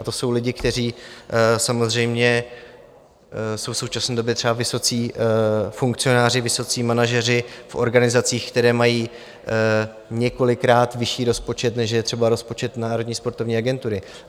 A to jsou lidé, kteří samozřejmě jsou v současné době třeba vysocí funkcionáři, vysocí manažeři v organizacích, které mají několikrát vyšší rozpočet, než je třeba rozpočet Národní sportovní agentury.